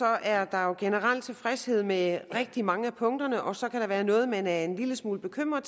er der jo generelt tilfredshed med rigtig mange af punkterne og så kan der være noget man er en lille smule bekymret